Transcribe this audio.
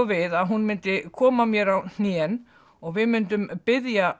við að hún myndi koma mér á hnén og við myndum biðja